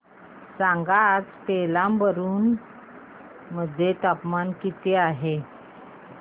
सांगा आज पेराम्बलुर मध्ये तापमान किती आहे